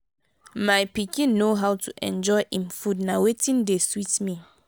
my pikin know how to enjoy im food na wetin dey sweet me